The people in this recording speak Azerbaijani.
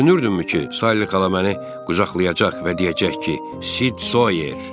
Sən düşünürdünmü ki, Sayli xala məni qucaqlayacaq və deyəcək ki, Sid Soyer.